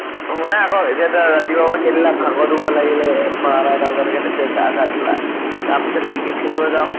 শুনা আকৌ ৰাতিপুৱাৰ পৰা খেলিলা, ভাগৰ দুগৰ লাগিলে বাৰʼ টা এটা বজালৈকে গা চা ধুলা। তাৰ পিছত cricket খেলিব যাওঁ।